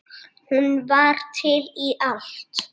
Hún var til í allt.